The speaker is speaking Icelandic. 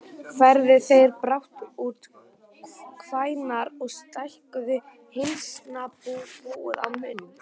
Færðu þeir brátt út kvíarnar og stækkuðu hænsnabúið að mun.